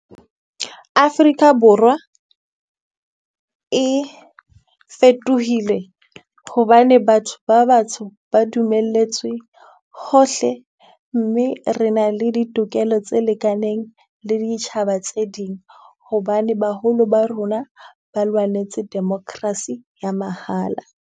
Afrika Borwa e fetohile hobane batho ba batsho ba dumelletswe hohle, mme re na le ditokelo tse lekaneng le ditjhaba tse ding. Hobane baholo ba rona ba lwanetse democracy ya mahala.